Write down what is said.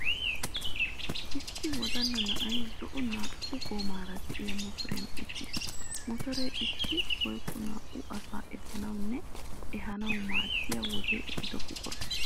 Issi wodalla na'ay zo'o naa'u goomaara diya motoriyan uttis. Motoree issi woykko naa'u asaa efanawunne ehanawu maaddiya wodee ehido buqura.